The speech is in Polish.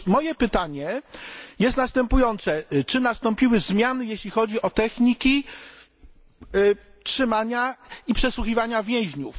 Otóż moje pytanie jest następujące czy nastąpiły zmiany, jeśli chodzi o techniki przetrzymywania i przesłuchiwania więźniów.